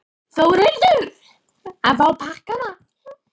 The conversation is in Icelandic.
Þórhildur: Að fá pakkana?